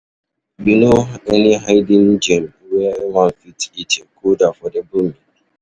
You know any hidden gem where one fit eat a good affordable meal?